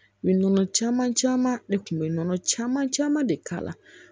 U bɛ nɔnɔ caman caman ne kun bɛ nɔnɔ caman caman de k'a la